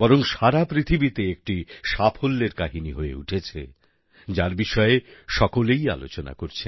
বরং সারা পৃথিবীতে একটি সাফল্যের কাহিনি হয়ে উঠেছে যার বিষয়ে সকলেই আলোচনা করছেন